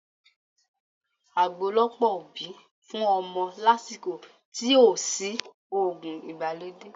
Àgbo lọ̀pọ̀ òbí fún ọmọ lásìkò tí ò sí òògùn ìgbàlódé